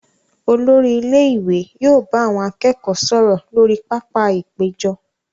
Olori ilé ìwé yóò bá àwọn akẹ́kọ̀ọ́ sọ̀rọ̀ lórí pápá-ìpéjọ.